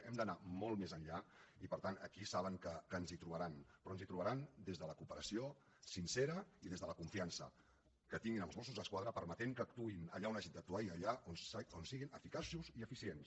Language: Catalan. hem d’anar molt més enllà i per tant aquí saben que ens hi trobaran però ens hi trobaran des de la cooperació sincera i des de la confiança que tinguin en els mossos d’esquadra permetent que actuïn allà on hagin d’actuar i allà on siguin eficaços i eficients